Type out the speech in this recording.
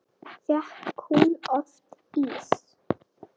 Fékk hún oft ís?